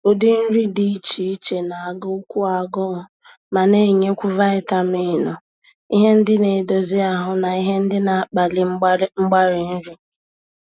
Ụdị nri dị iche iche na-agụ kwu agụụ ma na-enyekwu vaịtaminụ, ihe ndị na-edozi ahụ, na ihe ndị na-akpali mgbari nri.